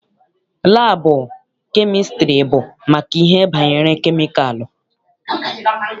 Laabụ kemịstrị bụ maka ihe banyere kemikalụ.